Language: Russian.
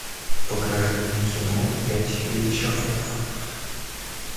покажи мне кино пять вечеров